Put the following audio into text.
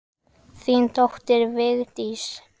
Þín dóttir, Vigdís.